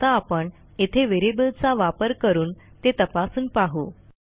आता आपण येथे व्हेरिएबलचा वापर करून ते तपासून पाहू